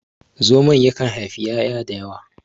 zamon yakan haifi 'ya'ya da yawa